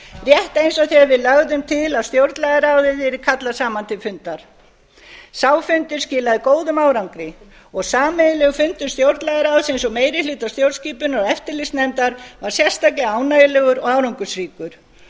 rétt eins og þegar við lögðum til að stjórnlagaráðið yrði kallað saman til fundar sá fundur skilaði góðum árangri og sameiginlegur fundur stjórnlagaráðsins og meiri hluta stjórnskipunar og eftirlitsnefndar var sérstaklega ánægjulegur og árangursríkur